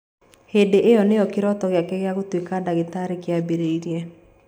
Hĩndĩ ĩyo nĩyo kĩroto gĩake gĩa gũtuĩka ndagĩtarĩ kĩambĩrĩirie.